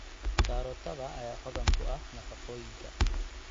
Karootada ayaa hodan ku ah nafaqooyinka.